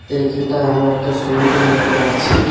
এইখানটায় আমরা একটা সুইমিংপুল দেখতে পারছি।